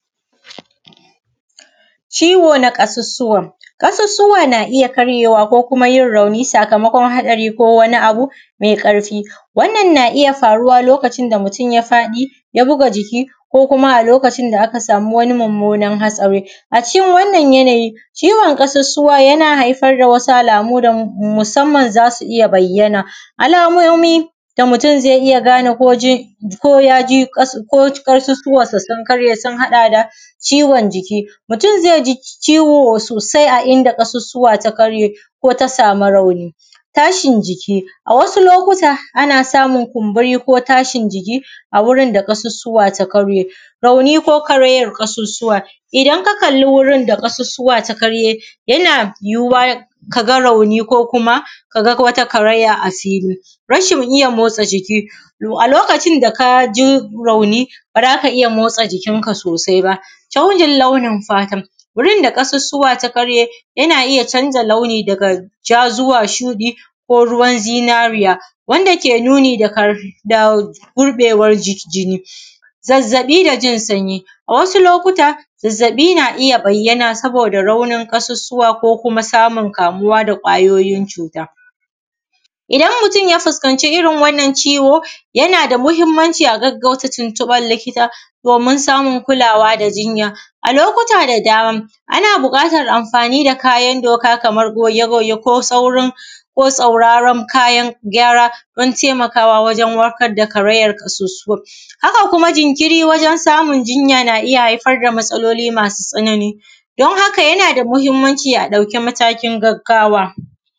Ciwo na ƙasussuwa, kasussuwa na iya karyewa ko kuma yin rauni sakamakon haɗari ko wani abu mai ƙarfi, wannan na iya faruwa lokacin da mutum ya faɗi ya buga jiki ko kuma a lokacin da aka samu wani mummunan hatsari a cikin wananan yanayi ciwon kasussuwa yana haifar da wasu alamu da musamman za su iya bayyana. Alamomi da mutum zai iya gane ko ƙasussuwansa sun karye sun haɗa da ciwon jiki, mutum zai ji ciwo sosai a inda ƙasussuwa ta karye ko ta samu rauni, tashin jiki a wasu lokuta ana samun kumburi ko tashin jiki a wurin da ƙasussuwa ta karye, raunin ko karayar ƙasussuwa idan aka kalla wurin da ƙasussuwa ta karye yana yuwuwa ka ga rauni ko ka ga wata karaya a fili. Rashin iya motsa jiki a lokacin da a ka ji rauni, ba za ka iya motsa jikinka sosai ba canjin launin fata gurin da ƙasusuwa ta karye yana iya canja launi daga ja zuwa shuɗi ko ruwan zinariya wanda ke nuni da gurɓacewar jinni, zazzabi da jin sanyi wasu lokuta, zazzabi na iya bayyana saboda raunin ƙasusuwa ko kuma samun ƙaruwa da kwayoyin cuta, idan mutum ya fuskanci irin wannan ciwo yana da muhimmanci a gaggauta tuntuɓan likita domin samun kulawa da jinya. A lokuta da dama ana buƙatan amfani da kayan doka kamar goge-goge ko sauraron gyara dan taimakawa wajen warkar da karayar ƙasussuwar, haka kuma jinkiri wajen samun jinya na iya haifar da matsaloli masu tsanani dan haka yana da mahimmanci a ɗauki matakin gaggawa.